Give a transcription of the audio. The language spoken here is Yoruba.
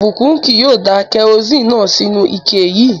Ìbùkún kì yóò da kẹrosíni náà sínú u ike yii